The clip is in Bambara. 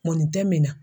Mɔni tɛ min na